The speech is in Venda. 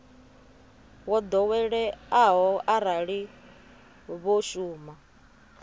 wo ḓoweleaho arali vho shuma